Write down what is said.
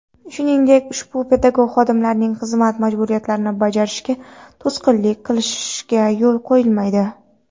shuningdek ushbu pedagog xodimlarning xizmat majburiyatlarini bajarishiga to‘sqinlik qilishga yo‘l qo‘yilmaydi.